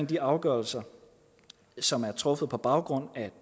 de afgørelser som er truffet på baggrund af